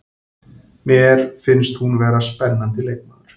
Mér finnst hún vera spennandi leikmaður.